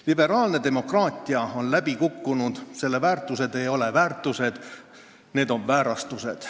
Liberaalne demokraatia on läbi kukkunud: selle väärtused ei ole väärtused, vaid väärastused.